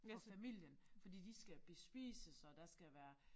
For familien fordi de skal bespises og der skal være